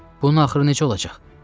Bunun axırı necə olacaq?